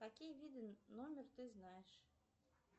какие виды номер ты знаешь